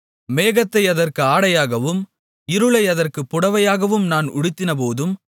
மேகத்தை அதற்கு ஆடையாகவும் இருளை அதற்குப் புடவையாகவும் நான் உடுத்தினபோதும்